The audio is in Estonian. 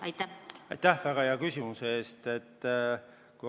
Aitäh väga hea küsimuse eest!